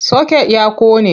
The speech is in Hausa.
Soket ya ƙone.